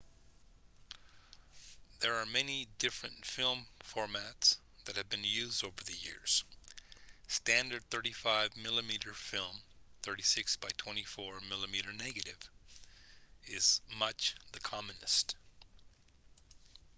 there are many different film formats that have been used over the years. standard 35 mm film 36 by 24 mm negative is much the commonest